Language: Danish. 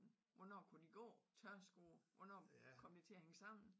Hvornår kunne de gå tørskoet hvornår kom det til at hænge sammen?